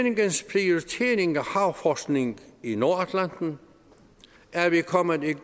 havforskning i nordatlanten er vi kommet et